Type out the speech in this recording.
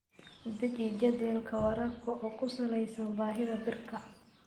Deji jadwalka waraabka oo ku salaysan baahida dhirta.